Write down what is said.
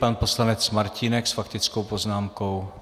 Pan poslanec Martínek s faktickou poznámkou.